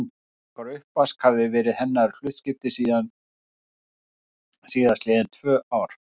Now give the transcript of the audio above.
Skúringar og uppvask hafði verið hennar hlutskipti síðast liðin tvö ár.